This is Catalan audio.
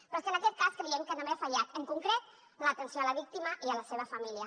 però és que en aquest cas creiem que també ha fallat en concret l’atenció a la víctima i a la seva família